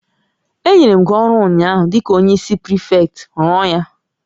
Enyere m gị ọrụ ụnyaahụ dịka onyeisi ndị prịfektị, rụọ ya!